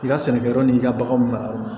I ka sɛnɛkɛyɔrɔ n'i ka baganw mara